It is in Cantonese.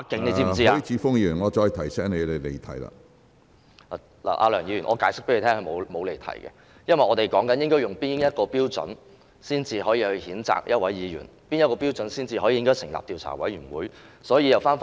梁議員，我可以向你解釋，我並沒有離題，因為我正在說明應以哪一標準決定譴責議員，應以哪一標準判斷應成立調查委員會處理。